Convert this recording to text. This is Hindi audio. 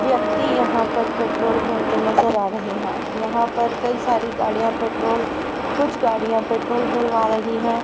व्यक्ति यहां पर पेट्रोल भरते नजर आ रहे हैं यहां पर कई सारी गाड़ियां पेट्रोल कुछ गाड़ियां पेट्रोल भरवा रही है।